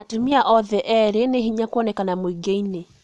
Atũmia othe eerĩ nĩ hĩnya kũonekana mũingĩ-inĩ